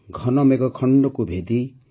ଘନ ମେଘଖଣ୍ଡକୁ ଭେଦି